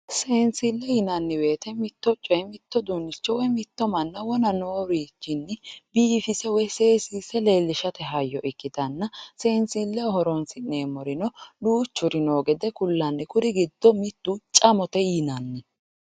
Seensille yinanni woyiite mitto coye woyi mitto uduunnicho, mitto manna wona noowiichinni biifise woyi seesiisate hayyo ikkitanna seensilleho horonsi'neemmorino duuchuri noo gede kullanni, kuri giddo mittu camote yinanni.